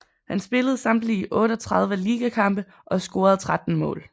Han spillede samtlige 38 ligakampe og scorede 13 mål